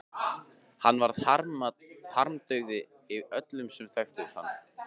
Hann varð harmdauði öllum sem þekktu hann.